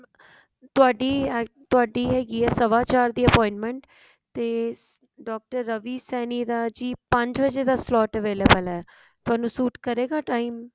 ਤੁਹਾਡੀ ਤੁਹਾਡੀ ਹੈਗੀ ਹੈ ਸਵਾ ਚਾਰ ਵਜੇ ਦੀ appointment ਤੇ doctor ਏਵੀ ਰਵੀ ਸੈਣੀ ਦਾ ਜੀ ਪੰਜ ਵਜੇ ਦਾ slot available ਹੈ ਤੁਹਾਨੂੰ ਸੂਟ ਕਰੇਗਾ time